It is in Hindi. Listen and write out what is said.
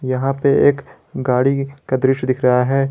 यहां पर एक गाड़ी का दृश्य दिख रहा है।